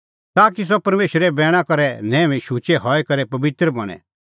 ताकि सह परमेशरे बैणा करै न्हैऊई शुचै हई करै पबित्र बणें